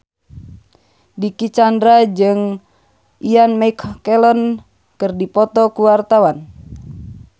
Dicky Chandra jeung Ian McKellen keur dipoto ku wartawan